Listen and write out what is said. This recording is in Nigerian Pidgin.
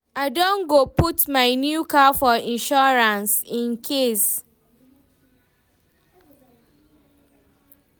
I don go put my new car for insurance, incase